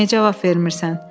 Niyə cavab vermirsən?